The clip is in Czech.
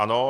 Ano.